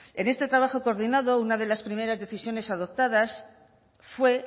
en este trabajo coordinado una de las primeras decisiones adoptadas fue